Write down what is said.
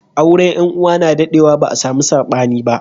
Auren yan uwa na daɗe wa ba a samu sabani ba